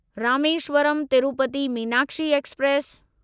Rameswaram Tirupati Meenakshi express